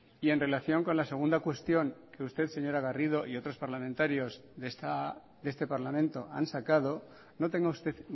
y en relación con la segunda cuestión que usted señora garrido y otros parlamentarios de este parlamento han sacado no tenga usted